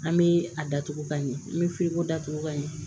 An bɛ a datugu ka ɲɛ n bɛ firiko da tugu ka ɲɛ